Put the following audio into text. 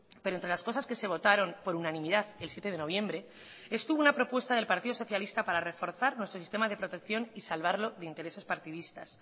pero entre las cosas que se votaron por unanimidad el siete de noviembre estuvo una propuesta del partido socialista para reforzar nuestro sistema de protección y salvarlo de intereses partidistas